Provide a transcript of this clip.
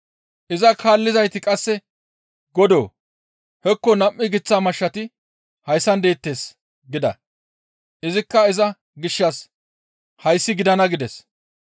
Iza kaallizayti qasse, «Godoo! Hekko nam7u giththa mashshati hayssan deettes» gida. Izikka iza gishshas, «Hayssi gidana» gides.